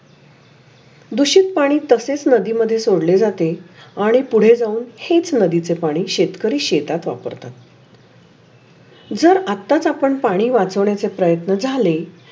दुषित पाणी तशेच नदी मधे सोडले जाते. आणि पुढे जाऊ हेच नदीचे पाणी शेतकरी शेतात वापरतात. जर आत्ताच आपण पाणी वाचन्याचे प्रयत्न झाले.